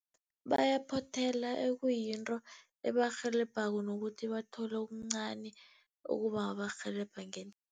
Bayaphothela ekuyinto ebarhelebhako nokuthi bathole okuncani